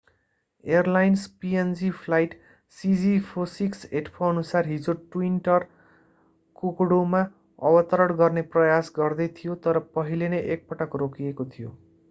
Airlines png flight cg4684अनुसार हिजो twin otter कोकोडामा अवतरण गर्ने प्रयास गर्दै थियो तर पहिले नै एकपटक रोकिएको थियो।